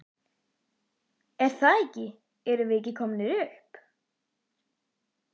Er það ekki erum við ekki komnir upp?